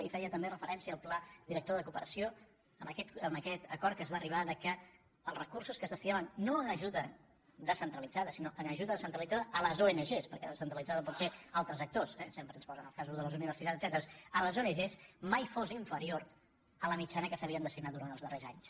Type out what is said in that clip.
hi feia també referència el pla director de cooperació amb aquest acord a què es va arribar que els recursos que es destinaven no a ajuda descentralitzada sinó a ajuda descentralitzada a les ong perquè descentralitzada pot ser a altres actors eh sempre es posen els casos de les universitats etcètera mai fos inferior a la mitjana que s’havien destinat durant els darrers anys